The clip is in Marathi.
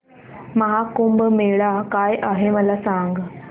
महा कुंभ मेळा काय आहे मला सांग